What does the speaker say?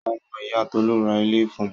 Ọmọ ìyá Tolú ra ilé fun.